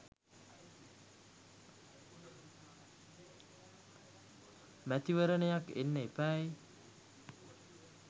මැතිවරණයක් එන්න එපැයි!